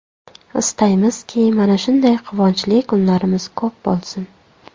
Istaymizki, mana shunday quvonchli kunlarimiz ko‘p bo‘lsin!